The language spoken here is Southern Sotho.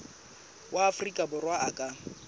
wa afrika borwa a ka